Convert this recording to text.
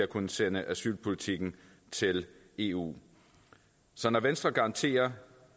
kunne sende asylpolitikken til eu så når venstre garanterer